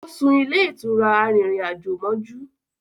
O sún ilé ìtura arìnrìn-àjò mójú